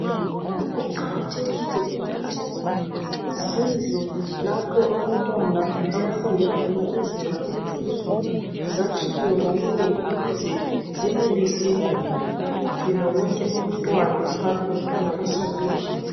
Kuqakathekile ukuthi izindlu lapho abantwana abafundela khona izinga eliphezulu zakhiwe ngobunengi ukuze zenelise ukugcina wonke umntwana kungabi lomntwana osalele phandle.